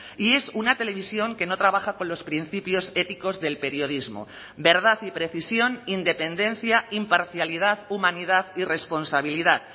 y es una televisión que no trabaja con los principios éticos del periodismo verdad y precisión independencia imparcialidad humanidad y responsabilidad